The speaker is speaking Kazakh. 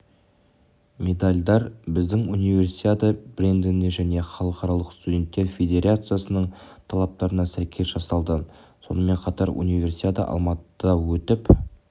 медальдар біздің универсиада брендіне және халықаралық студенттер федерациясының талаптарына сәйкес жасалды сонымен қатар универсиада алматыда өтіп